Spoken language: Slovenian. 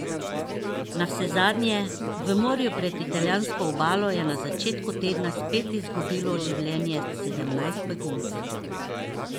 Navsezadnje, v morju pred italijansko obalo je na začetku tedna spet izgubilo življenje sedemnajst beguncev.